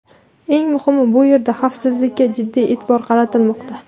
Eng muhimi, bu yerda xavfsizlikka jiddiy e’tibor qaratilmoqda.